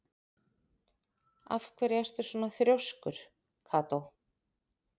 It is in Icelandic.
Af hverju ertu svona þrjóskur, Kató?